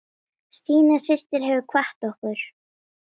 Stína systir hefur kvatt okkur.